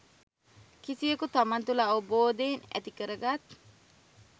කිසිවෙකු තමන් තුළ අවබෝධයෙන් ඇති කරගත්